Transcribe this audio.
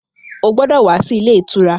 Ó gbọ́dọ̀ wá sí ilé ìtura!